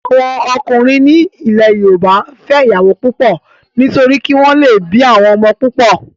Àwọn ọkùnrin ní ilẹ̀ yóòbá n fẹ́ ìyàwó púpọ̀ nítorí kí wọ́n lè bí àwọn ọmọ púpọ̀